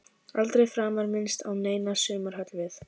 Aldrei framar minnst á neina sumarhöll við